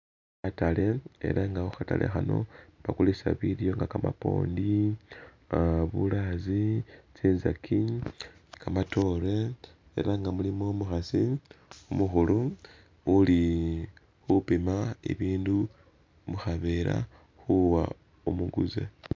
Khatale ela nga khu khatale khano bakulisa bilyo nga kamapondi uh bulaazi tsinzaki , kamatoore ela nga mulimo umukhasi umukhulu uli khupima ibindu mukhavera khuwa umuguze.